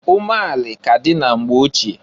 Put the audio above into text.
Umeanị ka dị na mgbe ochie.